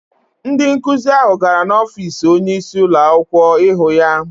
Ndị nkụzi ahụ gara n’ọfiisi onyeisi ụlọakwụkwọ ịhụ ya.